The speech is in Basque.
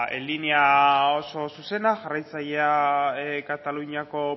bueno ba linea oso zuzena jarraitzailea kataluniako